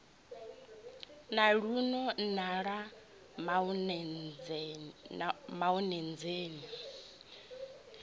na luno na ḽa maonzeni